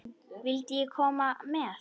Vildi ég koma með?